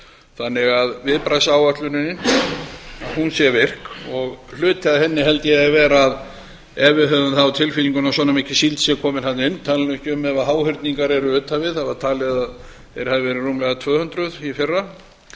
þannig að viðbragðsáætlunin sé virk og hluti af henni held ég ef við höfum það á tilfinningunni að svona mikil síld sé komin þarna inn ég tala nú ekki um ef háhyrningar eru utan við það var talið að þeir hefðu verið rúmlega tvö hundruð í fyrra